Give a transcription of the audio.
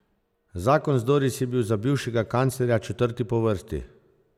Zakon z Doris je bil za bivšega kanclerja četrti po vrsti.